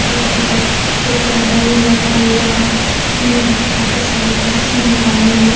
छोटा बड़ा पौधा भी लगा हुआ है अंदर में काफी सारी बाइक्स नजर आ रही है।